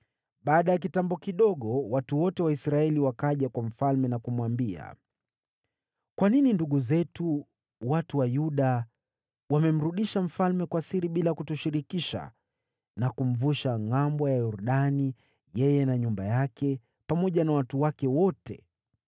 Baada ya kitambo kidogo watu wote wa Israeli wakaja kwa mfalme na kumwambia, “Kwa nini ndugu zetu, watu wa Yuda, wamemrudisha mfalme kwa siri bila kutushirikisha, na kumvusha ngʼambo ya Yordani, yeye na nyumba yake, pamoja na watu wake wote?”